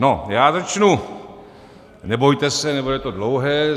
No já začnu - nebojte se, nebude to dlouhé.